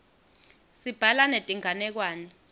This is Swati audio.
sibhala netinganekwane